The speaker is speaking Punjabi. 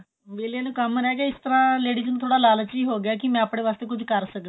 ਵੇਹਲਿਆ ਨੂੰ ਕੰਮ ਨਾਲੇ ਇਸ ਨਾਲ ladies ਨੂੰ ਲਾਲਚ ਵੀ ਹੋ ਗਿਆ ਕਿ ਮੈਂ ਆਪਨੇ ਵਾਸਤੇ ਕੁੱਛ ਕਰ ਸਕਦੀ ਹਾਂ